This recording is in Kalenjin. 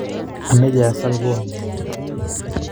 Amache asal konyun